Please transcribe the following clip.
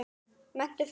Menntun fyrir alla.